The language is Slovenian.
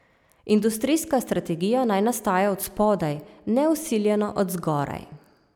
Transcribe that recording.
Industrijska strategija naj nastaja od spodaj, ne vsiljeno od zgoraj.